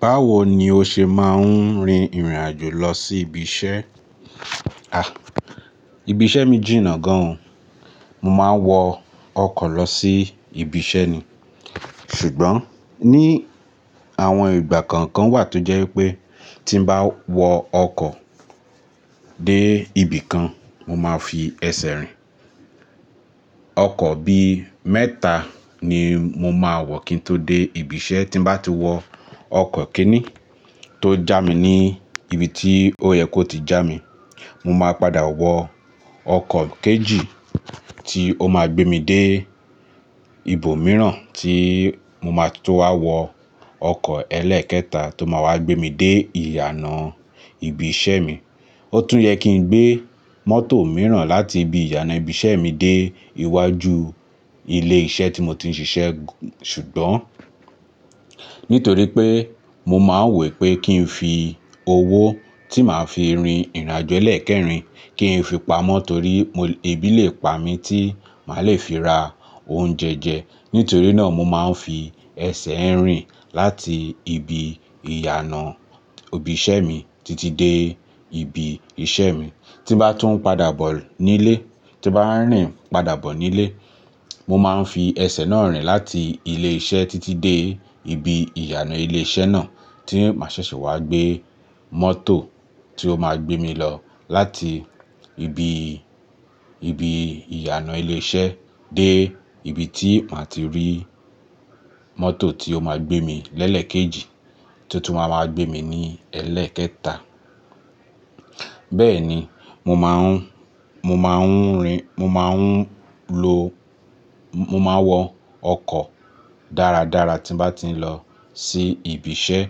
Báwo ni o ṣe máa ń rin ìrìn àjò lọ sí ibiṣẹ́? Ah! Ibi iṣẹ́ mi jìnnà gan o. Mo máa ń wọ ọkọ̀ lọ sí ibi iṣẹ́ ni. Ṣùgbọ́n ní àwọn ìgbà kọ̀ọ̀kan wà tó jẹ́ wípé tí ń bá wọ ọkọ̀ dé ibìkan, mo máa fi ẹsẹ̀ rìn. Ọkọ̀ bí mẹ́ta ni mo máa wọ̀ kí n tó dé ibi iṣẹ́. Tí bá ti wọ ọkọ̀ kinni tó já mi ní ibi tí ó yẹ kó ti já mi, mo máa padà wọ ọkọ̀ kejì tí ó máa gbé mi dé ibòmíràn tí mo máa tó wá wọ ọkọ̀ ẹlẹ́ẹ̀kẹta tó máa wá gbé mi dé ìyànà ibi iṣẹ́ mi. Ó tún yẹ kí n gbé mọ́tò mìíràn láti ibi ìyànà ibi iṣẹ́ mi dé iwájú ilé iṣẹ́ tí mo ti ń ṣiṣẹ́ ṣùgbọ́n nítorí pé mo máa ń wo pé kí n fi owó tí màá fi rin ìrìnàjò ẹlẹ́ẹ̀kẹrin kí n fi pamọ́ torí mo-- ebí lè pa mi tí màá le fi ra oúnjẹ jẹ. Nítorí náà, mo máa ń fi ẹsẹ̀ rìn láti ibi ìyànà ibi iṣẹ́ mi títí dé ibi iṣẹ́ mi. Tí bá tún padà bọ̀ nílé, tí bá ń rìn padà bọ̀ nílé, mo máa ń fi ẹsẹ̀ náà rìn láti ilé iṣẹ́ títí dé ibi ìyànà ilé iṣẹ́ náà tí màá ṣẹ̀ṣẹ̀ wá gbé mọ́tò tí ó máa gbé mi lọ láti ibi, ibi ìyànà ilé iṣẹ́ dé ibi tí màá ti rí mọ́tò tí ó máa gbé mi lẹ́lẹ̀ kejì tí tún máa gbé mi ní ẹlẹ́ẹ̀kẹta. Bẹ́ẹ̀ni, mo máa ń, mo máa ń rin, mo máa ń lo, mo máa wọ ọkọ̀ dáradára tí bá ti ń lọ sí ibi iṣẹ́.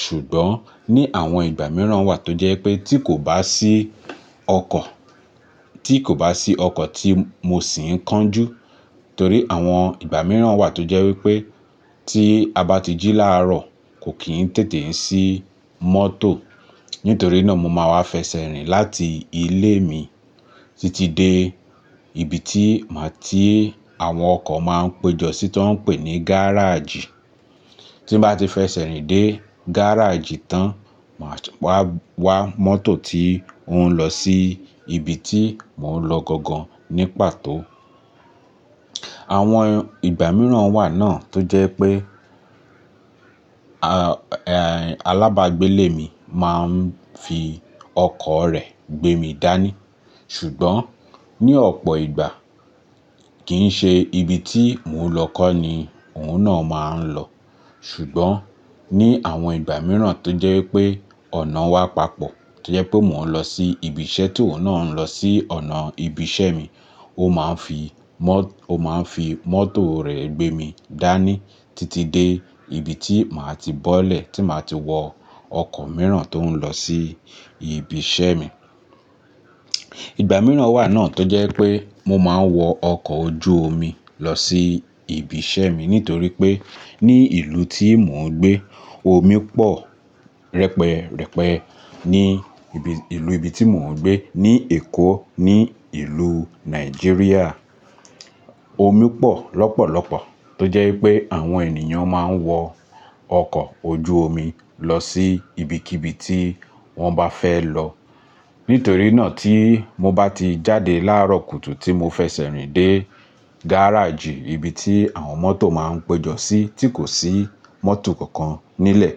Ṣùgbọ́n ní àwọn ìgbà mìíràn wà tó jẹ́ pé tí kò bá sí ọkọ̀, tí kò bá sí ọkọ̀ tí mo sì ń kánjú torí àwọn ìgbà mìíràn wà tó jẹ́ wípé tí a bá ti jí láàárọ̀ kò kí ń tètè sí mọ́tò. Nítorí náà, mo máa wá fẹsẹ̀ rìn láti ilé mi títí dé ibi tí màá tí àwọn ọkọ̀ máa ń péjọ sí tó ń pè ní gáràjì. Tí bá ti fẹsẹ̀ rìn dé gáràjì tán, màá wá, wá mọ́tò tí ń óún lọ sí ibi tí mò ń lọ gangan ní pàtó. Àwọn ìgbà mìíràn wà náà tó jẹ́ pé àh, eh, alábàágbélẹ̀ mi máa ń fi ọkọ̀ rẹ̀ gbé mi dání. Ṣùgbọ́n ní ọ̀pọ̀ ìgbà kì í ṣe ibi tí mò ń lọ kọ́ ni òun náà máa ń lọ. Ṣùgbọ́n ní àwọn ìgbà mìíràn tó jẹ́ wípé ọ̀nà wa papọ̀, tó jẹ́ pé mò ń lọ sí ibi iṣẹ́ tí òun náà ń lọ sí ọ̀nà ibi iṣẹ́ mi, ó máa ń fi mọ-- ó máa ń fi mọ́tò rẹ̀ gbé mi dání títí dé ibi tí màá ti bọ́lẹ̀ tí màá ti wọ ọkọ̀ mìíràn tó ń lọ sí ibi iṣẹ́ mi. Ìgbà mìíràn wà náà tó jẹ́ pé mo máa ń wọ ọkọ̀ ojú omi lọ sí ibi iṣẹ́ mi nítorí pé ní ìlú tí mò ń gbé, omi pọ̀ rẹpẹrẹpẹ ní ibi, ìlú ibi tí mò ń gbé ní Èkó, ní ìlú Nàìjíríà. Omi pọ̀ lọ́pọ̀lọ́pọ̀ tó jẹ́ wípé àwọn ènìyàn máa ń wọ ọkọ̀ ojú omi lọ sí ibikíbi tí wọ́n bá fẹ́ lọ. Nítorí náà tí mo bá ti jáde láàárọ̀ kùtù tí mo fẹsẹ̀ rìn dé gáràjì ibi tí àwọn mọ́tò máa ń péjọ sí tí kò sí mọ́tò kankan nílẹ̀,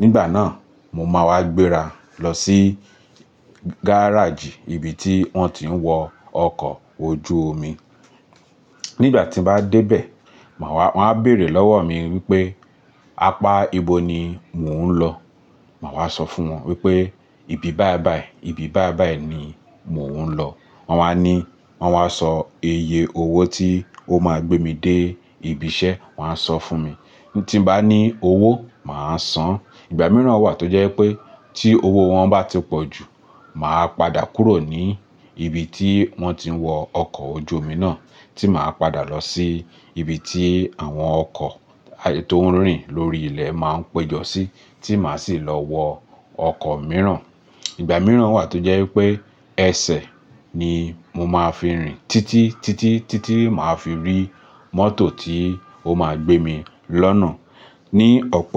nígbà náà mo máa wá gbéra lọ sí gáràjì ibi tí wọ́n ti ń wọ ọkọ̀ ojú omi. Nígbà tí mo bá dé bẹ̀, màá wá, wọ́n á bèrè lọ́wọ́ mi wípé, "apá ibo ni mò ń lọ?" màá wá sọ fún wọn wípé, "ibi báí báí, ibi báí báí ni mò ń lọ." Wọn wá ní, wọ́n wá sọ iye owó tí ó máa gbé mi dé ibi iṣẹ́, wọ́n á sọ fún mi. Tí bá ní owó, màá san. Ìgbà mìíràn wà tó jẹ́ wípé tí owó wọn bá ti pọ̀ jù, màá padà kúrò ní ibi tí wọ́n ti ń wọ ọkọ̀ ojú omi náà tí màá padà lọ sí ibi tí àwọn ọkọ̀ tó ń rìn lórí ilẹ̀ máa ń péjọ sí tí màá sì lọ wọ ọkọ̀ mìíràn. Ìgbà mìíràn wà tó jẹ́ wípé ẹsẹ̀ ni mo máa fi rìn títí, títí, títí màá fi rí mọ́tò tí ó máa gbé mi lọ́nà ní ọ̀pọ̀ ìgbà.